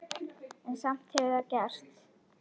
En samt hefur það gerst.